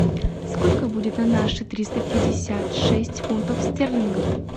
сколько будет на наши триста пятьдесят шесть фунтов стерлингов